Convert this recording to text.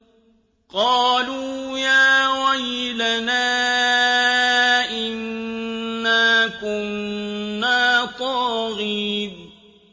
قَالُوا يَا وَيْلَنَا إِنَّا كُنَّا طَاغِينَ